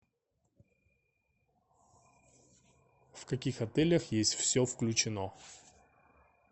в каких отелях есть все включено